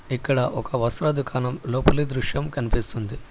ఇక్కడ ఒక వస్త్రదుకాణం లోపలి దృశ్యం కనిపిస్తుంది.